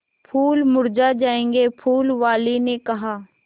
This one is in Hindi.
फूल मुरझा जायेंगे फूल वाली ने कहा